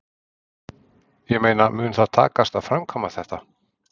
Ég meina mun það takast að framkvæma þetta?